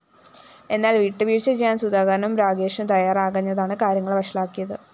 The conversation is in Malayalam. എന്നാല്‍ വിട്ടുവീഴ്ച ചെയ്യാന്‍ സുധാകരനും രാഗേഷും തയ്യാറാകാഞ്ഞതാണ് കാര്യങ്ങള്‍ വഷളാക്കിയത്